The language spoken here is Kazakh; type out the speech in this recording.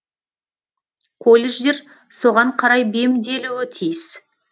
колледждер соған қарай бейімделуі тиіс